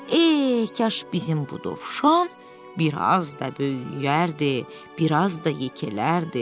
Ey, kaş bizim bu Dovşan, biraz da böyüyərdi, biraz da yekələrdi.